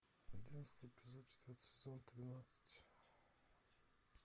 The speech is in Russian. одиннадцатый эпизод четвертый сезон тринадцать